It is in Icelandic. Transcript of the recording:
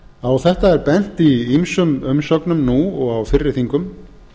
á þetta er bent í ýmsum umsögnum nú og á fyrri þingum